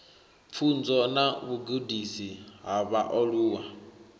pfunzo na vhugudisi ha vhaaluwa